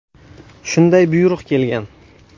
Shunday buyruq kelgan.